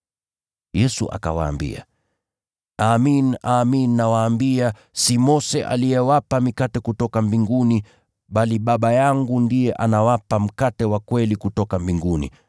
Yesu akawaambia, “Amin, amin nawaambia, si Mose aliyewapa mikate kutoka mbinguni, bali Baba yangu ndiye anawapa mkate wa kweli kutoka mbinguni.